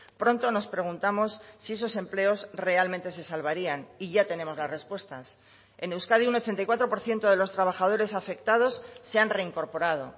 pronto nos preguntamos si esos empleos realmente se salvarían y ya tenemos las respuestas en euskadi un ochenta y cuatro por ciento de los trabajadores afectados se han reincorporado